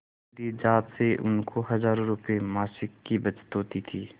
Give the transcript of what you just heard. मेरी जात से उनको हजारों रुपयेमासिक की बचत होती थी